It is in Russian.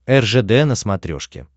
ржд на смотрешке